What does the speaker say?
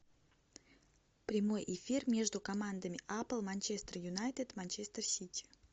прямой эфир между командами апл манчестер юнайтед манчестер сити